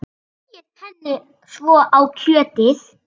Smyrjið henni svo á kjötið.